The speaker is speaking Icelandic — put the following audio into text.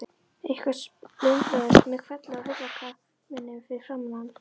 Eitthvað splundraðist með hvelli á hurðarkarminum fyrir framan hann.